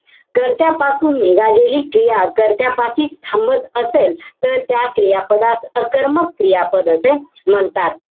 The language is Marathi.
कर्त्यापासून निघालेली क्रिया कर्त्यापाशीच थांबत असेल तर त्या क्रियापदास अकर्मक क्रियापद असे म्हणतात.